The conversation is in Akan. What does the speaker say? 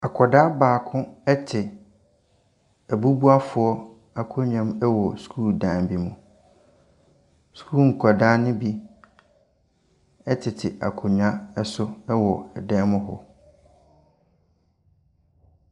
Akwadaa baako te abubuafo akonnwa mu wɔ sukuudan bimu. Sukuu nkwadaa ne bi tete ankonnwa so wɔ dan mu hɔ.